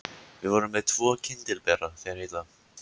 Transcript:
Við vorum með tvo kyndilbera, þeir heita